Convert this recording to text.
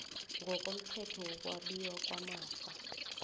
ngokomthetho wokwabiwa kwamafa